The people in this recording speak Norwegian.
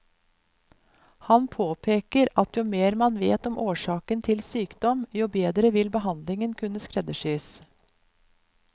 Han påpeker at jo mer man vet om årsaken til sykdom, jo bedre vil behandlingen kunne skreddersys.